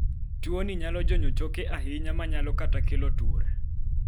tinne tuoni nyalo jonyo choke ahinya manyalo kata kelo tur